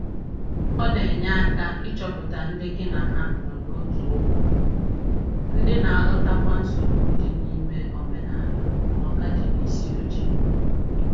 Ọ na enye aka ịchọpụta ndị gị na ha nọ n'otu ụgbọ, ndị na-aghọtakwa nsogbu dị n’ime omenala “oga di n'isi oche”